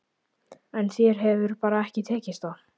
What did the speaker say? En þér hefur bara ekki tekist það.